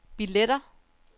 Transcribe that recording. billetter